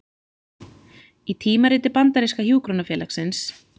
Í tímariti bandaríska hjúkrunarfélagsins